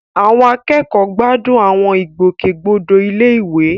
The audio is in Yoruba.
Àwọn akẹ́kọ̀ọ́ gbádùn àwọn ìgbòkègbodò ilé-ìwé.